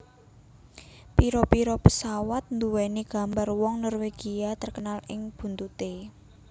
Pira pira pesawat nduwèni gambar wong Norwegia terkenal ing buntuté